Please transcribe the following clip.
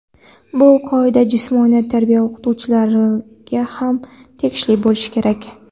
Bu qoida jismoniy tarbiya o‘qituvchilariga ham tegishli bo‘lishi kerak.